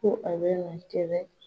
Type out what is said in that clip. Ko a bɛ na n kɛlɛ